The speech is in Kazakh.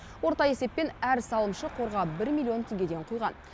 орта есеппен әр салымшы қорға бір миллион теңгеден құйған